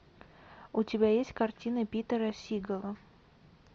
у тебя есть картина питера сигала